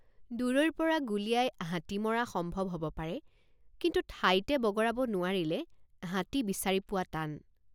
দূৰৈৰপৰা গুলীয়াই হাতী মৰা সম্ভৱ হব পাৰে কিন্তু ঠাইতে বগৰাব নোৱাৰিলে হাতী বিচাৰি পোৱা টান।